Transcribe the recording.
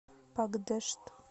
пакдешт